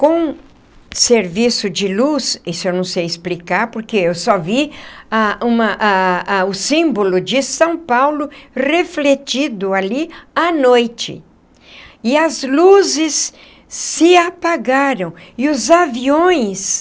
com serviço de luz... isso eu não sei explicar porque eu só vi a uma a a o símbolo de São Paulo refletido ali à noite... e as luzes se apagaram... e os aviões...